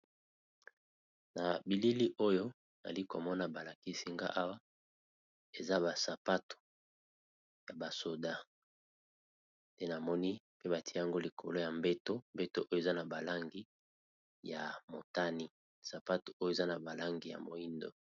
na bilili oyo ali komona balakisi nga awa eza basapatu ya basoda te namoni pe batia yango likolo ya mbeto mbeto oyo eza na balangi ya motani sapatu oyo eza na balangi ya moindo